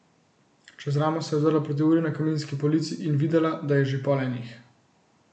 Čez ramo se je ozrla proti uri na kaminski polici in videla, da je že pol enih.